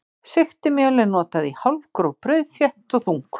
Sigtimjöl er notað í hálfgróf brauð, þétt og þung.